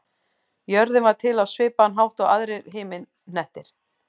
Jörðin varð til á svipaðan hátt og aðrir himinhnettir.